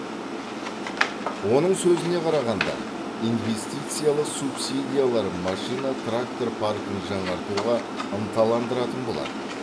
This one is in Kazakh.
оның сөзіне қарағанда инвестициялық субсидиялар машина трактор паркін жаңартуға ынталандыратын болады